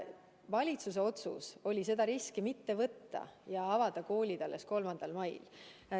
Valitsuse otsus oli seda riski mitte võtta ja avada koolid alles 3. mail.